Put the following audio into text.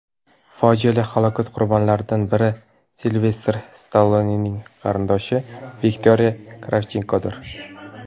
Fojiali halokat qurbonlaridan biri Silvestr Stallonening qarindoshi Viktoriya Kravchenkodir.